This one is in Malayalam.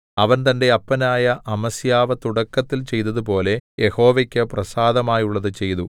അവൻ തന്റെ അപ്പനായ അമസ്യാവ് തുടക്കത്തിൽ ചെയ്തതുപോലെ യഹോവയ്ക്ക് പ്രസാദമായുള്ളത് ചെയ്തു